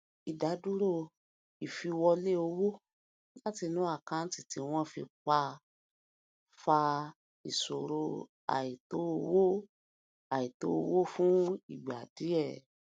ìdádúró ìfìwọlé owó láti inú àkanti tí wọn ti pa fa ìṣòro àìtó owó àìtó owó fún ìgbà díẹ